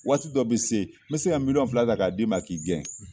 Waati dɔ bɛ se bɛ se n bɛ se ka miliyɔn fila ta k'a d'i ma k'i gɛn